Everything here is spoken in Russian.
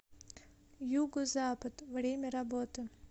юго запад время работы